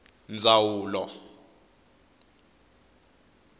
ndwawulo